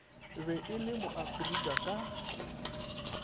be e le moafrika ka